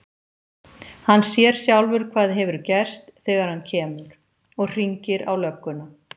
Hann sér sjálfur hvað hefur gerst þegar hann kemur. og hringir á lögguna.